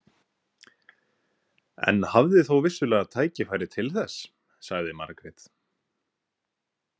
En hafði þó vissulega tækifæri til þess, sagði Margrét.